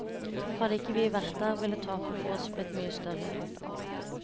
Hadde ikke vi vært der, ville tapet for oss blitt mye større.